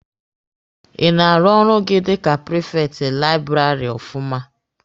Ị na-arụ ọrụ gị dika prifekti laịbụrarị ọfụma?